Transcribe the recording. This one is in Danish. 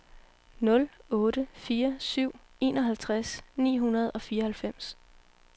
nul otte fire syv enoghalvtreds ni hundrede og fireoghalvfems